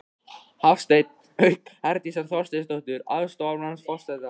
Hafstein, auk Herdísar Þorsteinsdóttur, aðstoðarmanns forseta.